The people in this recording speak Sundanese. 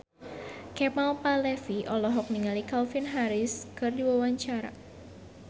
Kemal Palevi olohok ningali Calvin Harris keur diwawancara